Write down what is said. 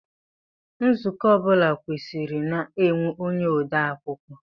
Nzukọ ọ bụla kwesiri na-enwe onye odeakwụkwọ.